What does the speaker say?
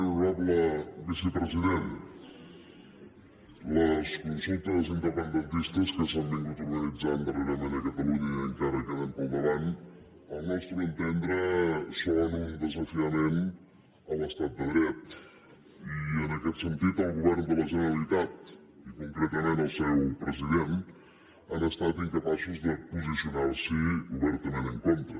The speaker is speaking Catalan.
honorable vicepresident les consultes independentistes que s’han estat organitzant darrerament a catalunya i encara queden pel davant al nostre entendre són un desafiament a l’estat de dret i en aquest sentit el govern de la generalitat i concretament el seu president han estat incapaços de posicionar s’hi obertament en contra